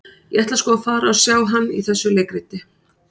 Ég ætla sko að fara og sjá hann í þessu leikriti.